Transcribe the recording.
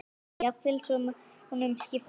Lillý: Jafnvel svo mánuðum skipti?